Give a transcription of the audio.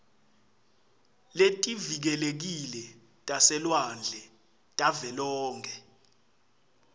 letivikelekile taselwandle tavelonkhe